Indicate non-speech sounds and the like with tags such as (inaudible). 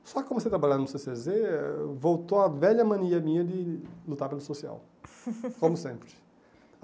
Só comecei a trabalhar no cê cê zê, voltou a velha mania minha de lutar pelo social, (laughs) como sempre.